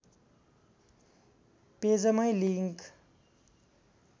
पेजमै link